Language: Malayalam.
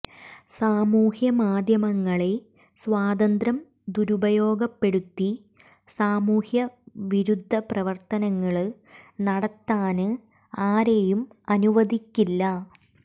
സാമൂഹ്യമാദ്ധ്യമങ്ങളെ സ്വാതന്ത്ര്യം ദുരുപയോഗപ്പെടുത്തി സാമൂഹ്യ വിരുദ്ധ പ്രവര്ത്തനങ്ങള് നടത്താന് ആരെയും അനുവദിക്കില്ല